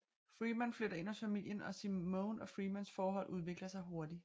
Freeman flytter ind hos familien og Simone og Freemans forhold udvikler sig hurtigt